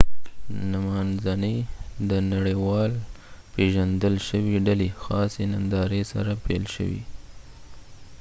نمانځنی د نړیوال پیژندل شوی ډلی خاصی ننداری سره پیل شوی